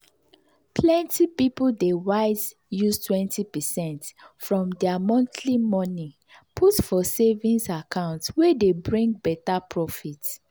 plenty people dey wise use 20 percent from their monthly money put for savings account wey dey bring better profit.